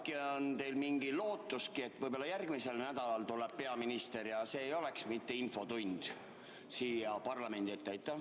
Aga äkki on teil mingi lootus, et võib-olla järgmisel nädalal tuleb peaminister siia parlamendi ette, ja see ei oleks mitte infotund.